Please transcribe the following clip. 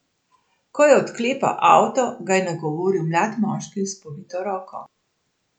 Ko je odklepal avto, ga je nagovoril mlad moški s povito roko.